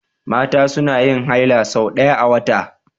Mata suna yin haila sau ɗaya a wata.